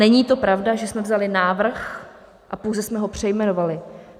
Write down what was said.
Není to pravda, že jsme vzali návrh a pouze jsme ho přejmenovali.